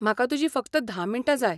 म्हाका तुजीं फकत धा मिन्टां जाय.